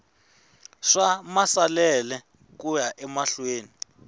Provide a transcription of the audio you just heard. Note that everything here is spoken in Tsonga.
swa maasesele ku ya mahlweni